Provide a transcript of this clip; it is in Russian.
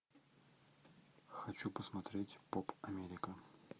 хочу посмотреть поп америка